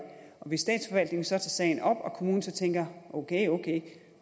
og hvis statsforvaltningen så tager sagen op og kommunen tænker ok ok